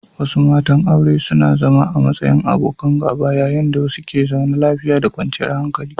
Wasu matan aure suna zama a matsayin abokan gaba yayin da wasu ke zaune lafiya da kwanciyar hankali.